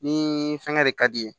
Ni fɛngɛ de ka di ye